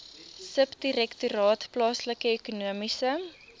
subdirektoraat plaaslike ekonomiese